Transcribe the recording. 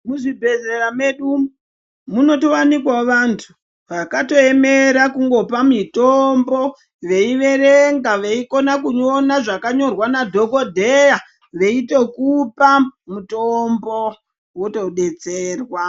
Muzvibhedhlera medu munowanikwawo vantu vakaemera kuti vangopa mitombo veiverenga veikona kuverenga zvakanyorwa nadhokodheya veitokupa mutombo wotodetserwa.